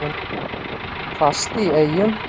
Hvasst í Eyjum